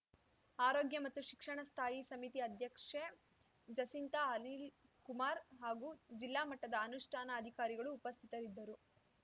ಆರೋಗ್ಯ ಮತ್ತು ಶಿಕ್ಷಣ ಸ್ಥಾಯಿ ಸಮಿತಿ ಅಧ್ಯಕ್ಷೆ ಜಸಿಂತ ಅನಿಲ್‌ಕುಮಾರ್‌ ಹಾಗೂ ಜಿಲ್ಲಾ ಮಟ್ಟದ ಅನುಷ್ಠಾನ ಅಧಿಕಾರಿಗಳು ಉಪಸ್ಥಿತರಿದ್ದರು